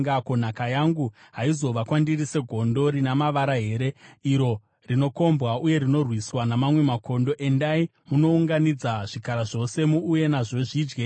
Ko, nhaka yangu haizova kwandiri segondo rina mavara here, iro rinokombwa uye rinorwiswa namamwe makondo? Endai munounganidza zvikara zvose; muuye nazvo zvidye.